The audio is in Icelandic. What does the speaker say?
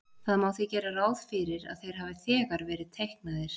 Það má því gera ráð fyrir að þeir hafi þegar verið teiknaðir.